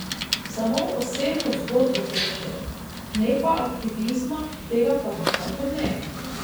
Samo osebno zgodbo hočejo, ne pa aktivizma, tega pa nikakor ne.